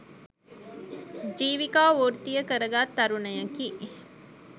ජීවිකා වෘත්තීය කර ගත් තරුණයෙකි